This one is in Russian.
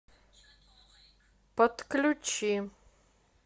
подключи